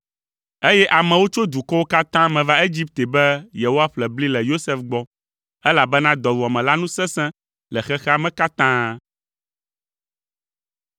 Eye amewo tso dukɔwo katã me va Egipte be yewoaƒle bli le Yosef gbɔ, elabena dɔwuame la nu sesẽ le xexea me katã.